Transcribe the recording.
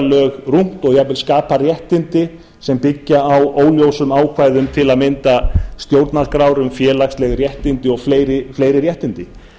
lög rúmt og jafnvel skapa réttindi sem byggja á óljósum ákvæðum til að mynda stjórnarskrár um félagsleg réttindi og fleiri réttindi